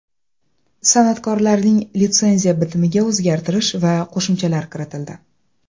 San’atkorlarning litsenziya bitimiga o‘zgartirish va qo‘shimchalar kiritildi.